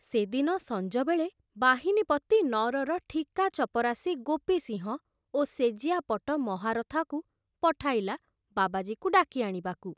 ସେ ଦିନ ସଞ୍ଜବେଳେ ବାହିନୀପତି ନଅରର ଠିକା ଚପରାସୀ ଗୋପି ସିଂହ ଓ ସେଜିଆପଟ ମହାରଥାକୁ ପଠାଇଲା ବାବାଜୀକୁ ଡାକି ଆଣିବାକୁ।